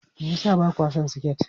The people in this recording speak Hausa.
Me yasa ba kwa son siket?